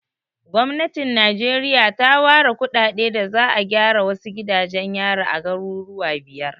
Gwamnatin Najeriya ta ware kuɗaɗe da za'a gyara wasu gidajen yari a garuruwa biyar.